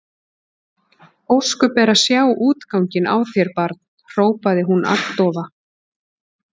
Ósköp er að sjá útganginn á þér barn hrópaði hún agndofa.